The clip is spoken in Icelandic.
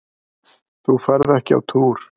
Þú ferð ekki á túr!